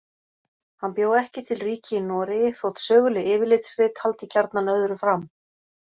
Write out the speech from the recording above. Hann bjó ekki til ríki í Noregi þótt söguleg yfirlitsrit haldi gjarnan öðru fram.